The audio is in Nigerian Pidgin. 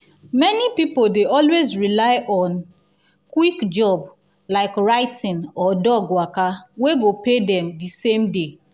many people dey always rely on quick job like writing or dog waka wey go pay them the same day.